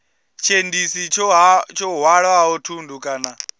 tshiendisi tsho hwalaho thundu kana